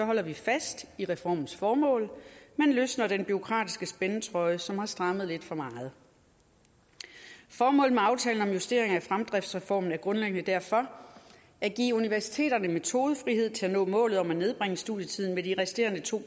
holder vi fast i reformens formål men løsner den bureaukratiske spændetrøje som har strammet lidt for meget formålet med aftalen om justering af fremdriftsreformen er grundlæggende derfor at give universiteterne metodefrihed til at nå målet om at nedbringe studietiden med de resterende to